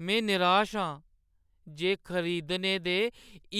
मैं निराश आं जे खरीदने दे